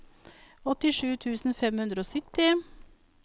åttisju tusen fem hundre og sytti